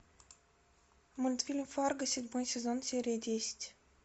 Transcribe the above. мультфильм фарго седьмой сезон серия десять